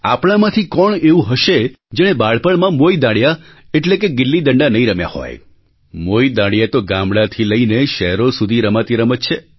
આપણામાંથી કોણ એવું હશે જેણે બાળપણમાં મોઇ દાંડિયા ગિલ્લી ડંડા નહીં રમ્યા હોય મોઈ દાંડિયા ગિલ્લી ડંડા તો ગામડાંથી લઈને શહેરો સુધી રમાતી રમત છે